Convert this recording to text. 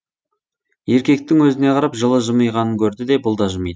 еркектің өзіне қарап жылы жымыйғанын көрді де бұл да жымиды